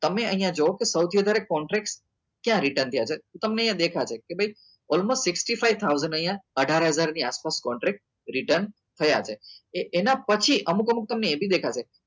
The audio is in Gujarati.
તમે અહિયાં job સૌથી વધારે contracts ક્યા return છે તો તમને અહિયાં દેખાશે કે ભાઈ all most sisxty five thousand અહિયાં અઢાર હજાર ની આસપાસ contract return થયા છે એના પછી અમુક અમુક તમને એ બી દેખાશે